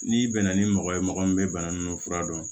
N'i bɛnna ni mɔgɔ ye mɔgɔ min bɛ bana nunnu fura dɔn